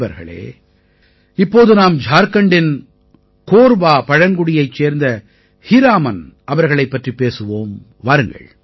நண்பர்களே இப்போது நாம் ஜார்க்கண்டின் கோர்வா பழங்குடியைச் சேர்ந்த ஹீராமன் அவர்களைப் பற்றிப் பேசுவோம் வாருங்கள்